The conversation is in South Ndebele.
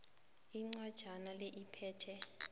incwajana le iphethe